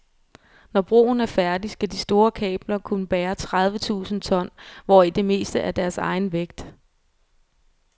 Når broen er færdig, skal de store kabler kunne bære tredive tusinde ton, hvoraf det meste er deres egen vægt.